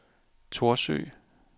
Thorsø